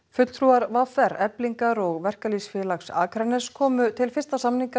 fulltrúar v r Eflingar og Verkalýðsfélags Akraness komu til fyrsta